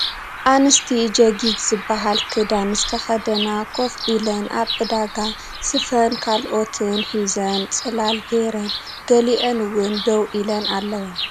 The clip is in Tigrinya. ኣንስቲ ጀጊግ ዝበሃል ክዳን ዝተከደና ኮፍ ኢለን ኣብ ዕዳጋ ስፈን ካልኦትን ሒዘን ፅላል ገይረን ገሊአን እውን ደው ኢለን ኣለዋ ።